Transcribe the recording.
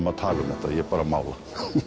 að tala um þetta ég bara mála